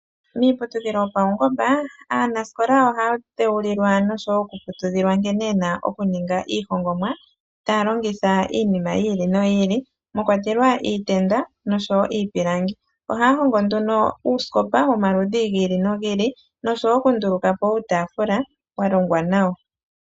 Miiputudhilo yo paungomba aanasikola oha dhewulilwa noshowo oku putudhilwa nkene yena okuninga iihongomwa taa longitha iinima yi ili noyi ili mwakwatelwa iitenda noshowo iipilangi, ohaa hongo nduno uusikopa womaludhi gili no gili noshowo oku ndulukapo iitaafula ya longwa nawa.